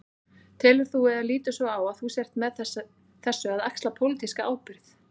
Telur þú, eða lítur svo á að þú sért með þessu að axla pólitíska ábyrgð?